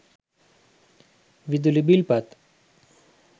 විදුලි බිල් පත්